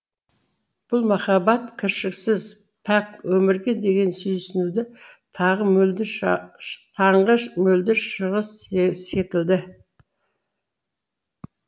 бұл махаббат кіршіксіз пәк өмірге деген сүйсінудің таңғы мөлдір шығы секілді